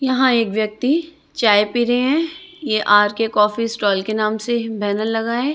यहाॅं एक व्यक्ति चाय पी रहे हैं ये आर_के कॉफी स्टॉल के नाम से बॅनर लगा हैं।